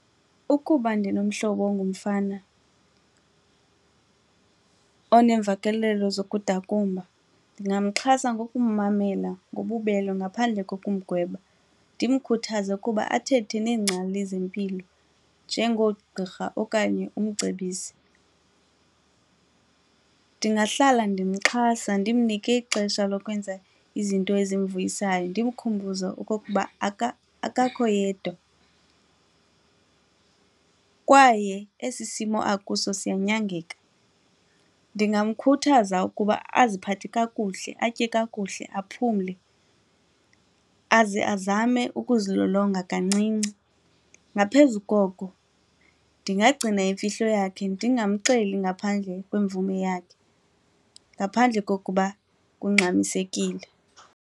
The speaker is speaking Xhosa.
Ukuba ndinomhlobo ongumfana onemvakalelo zokudakumba ndingamxhasa ngokummamela ngobubele ngaphandle kokumgweba, ndimkhuthaze ukuba athethe neengcali zempilo njengoogqirha okanye umcebisi. Ndingahlala ndimxhasa ndimnike ixesha lokwenza izinto ezimvuyisayo ndimkhumbuze okokuba akakho yedwa kwaye esi simo akuso siyanyangeka. Ndingamkhuthaza ukuba aziphathe kakuhle, atye kakuhle, aphumle aze azame ukuzilolonga kancinci. Ngaphezu koko ndingagcina imfihlo yakhe ndingamxeli ngaphandle kwemvume yakhe ngaphandle kokuba kungxamisekile.